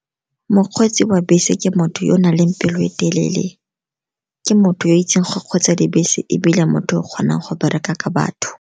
Mokgweetsi wa bese ke motho yo o nang le pelo e telele, ke motho yo o itseng go kgweetsa dibese, ebile motho yo o kgonang go bereka ka batho.